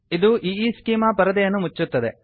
ಇದು ಈಸ್ಚೆಮಾ ಪರದೆಯನ್ನು ಮುಚ್ಚುತ್ತದೆ